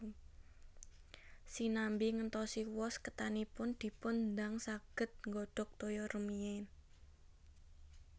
Sinambi ngentosi wos ketanipun dipun dang saged nggodhog toya rumiyin